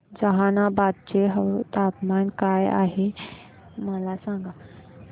जहानाबाद चे तापमान काय आहे मला सांगा